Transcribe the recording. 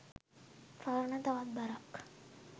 පවරන තවත් බරක්.